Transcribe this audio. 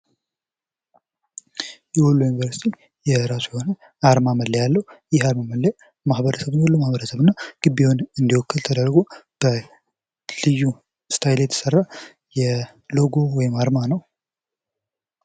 የወሎ ዩኒቨርሲቲ የራሱ የሆነ አርማ መለያ አለው ይህ አርማ መለያ የወሎ ማህበረሰብን እና ግቢውን እንዲወክል ተደርጎ በልዩ ስታይል የተሰራ ሎጎ ወይም አርማ ነው።